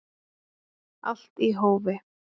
Allt í hófi